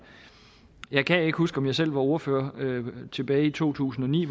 jeg kan ikke huske om jeg selv var ordfører tilbage i to tusind og ni